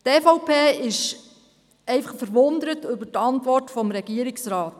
Die EVP ist einfach verwundert über die Antwort des Regierungsrats.